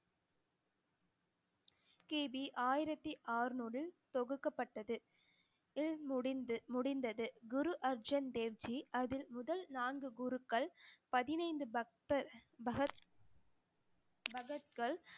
கி. பி ஆயிரத்தி அறுநூறு தொகுக்கப்பட்டது முடிந்து~ முடிந்தது குரு அர்ஜுன் தேவ்ஜி அதில் முதல் நான்கு குருக்கள் பதினைந்து பக்தர் பகத்~